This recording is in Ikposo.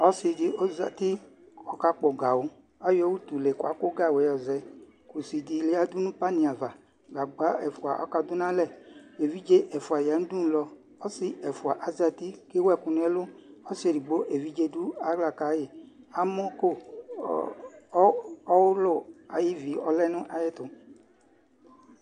Ɔsɩ dɩ ɔzati kʋ ɔkakpɔ gawʋ Ayɔ utule kʋ akʋ gawʋ yɛ yɔzɛ Kusi dɩ yǝdu nʋ panɩ ava Gagba ɛfʋa akɔdʋ nʋ alɛ Evidze ɛfʋa aya nʋ udunulɔ Ɔsɩ ɛfʋa azati kʋ ewu ɛkʋ nʋ ɛlʋ Ɔsɩ edigbo evidze dʋ aɣla ka yɩ Amɔko ɔɣʋlʋ ayʋ ivi ɔlɛ nʋ ayɛtʋ